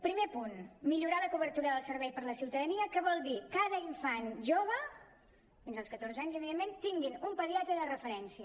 primer punt millorar la cobertura del servei per a la ciutadania que vol dir que cada infant jove fins als catorze anys evidentment tingui un pediatre de referència